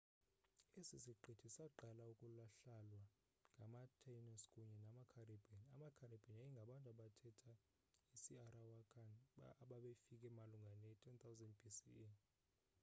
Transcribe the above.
esi siqithi saqala ukuhlalwa ngamataínos kunye namacaribbean. amacaribbean yayingabantu abathetha isiarawakan ababefike malunga ne-10 000 bce